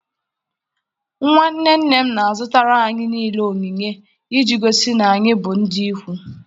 Nwa nne nne m na-azụtara anyị niile onyinye iji gosi na anyị bụ ndị ikwu.